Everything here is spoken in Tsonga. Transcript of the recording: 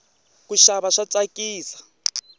kuxava swa tsakisa